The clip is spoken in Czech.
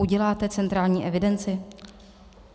Uděláte centrální evidenci?